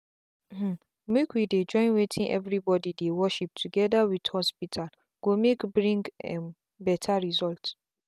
hmmmmake we dey join wetin everybody dey worship together with hospital go make bring um better result.